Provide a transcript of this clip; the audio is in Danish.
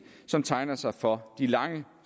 som tegner sig for de lange